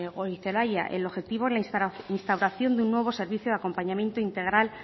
goirizelaia el objetivo es la instauración de un nuevo servicio de acompañamiento integral